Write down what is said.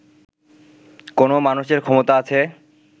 কোনও মানুষের ক্ষমতা আছে